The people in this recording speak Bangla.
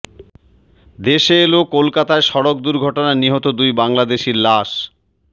দেশে এলো কলকাতায় সড়ক দুর্ঘটনায় নিহত দুই বাংলাদেশির লাশ